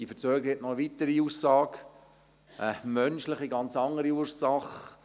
Diese Verzögerung hat noch eine weitere Aussage – eine menschliche, ganz andere Ursache: